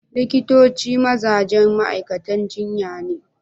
Likitoci mazajen ma'aikatan jinya ne